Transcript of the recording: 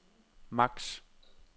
max